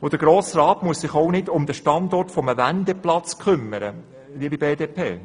Der Grosse Rat muss sich auch nicht um den Standort eines Wendeplatzes kümmern, liebe BDP.